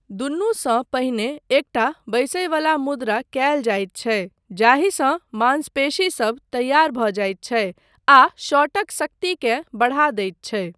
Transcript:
दुनूसँ पहिने एकटा बैसयवला मुद्रा कयल जाइत छै जाहिसँ मांसपेशीसब तैयार भऽ जाइत छै आ शॉटक शक्तिकेँ बढ़ा दैत छै।